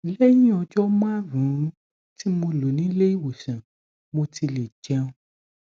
lẹyìn ọjọ márùnún tí mo lò nílé ìwòsàn mo ti lè jẹun